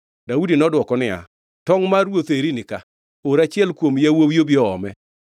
Daudi nodwoko niya, “Tongʼ mar ruoth eri ni ka. Or achiel kuom yawuowi obi oome.